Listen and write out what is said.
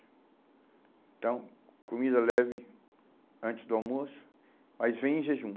Então, comida leve antes do almoço, mas vem em jejum.